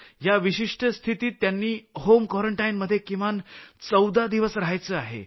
या विशिष्ट स्थितीत त्यांनी होम क्वारंटाईनमध्ये किमान 14 दिवस रहायचं आहे